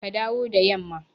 Ka dawo da yamma!